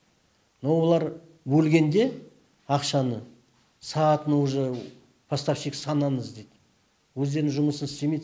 но олар бөлгенде ақшаны сағатын уже поставщик санаңыз дейді өздерінің жұмысын істемейді